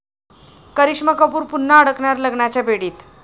करिश्मा कपूर पुन्हा अडकणार लग्नाच्या बेडीत